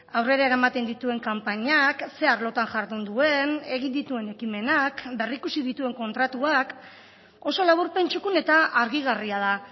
aurrera eramaten dituen kanpainak ze arlotan jardun duen egin dituen ekimenak berrikusi dituen kontratuak oso laburpen txukun eta argigarria da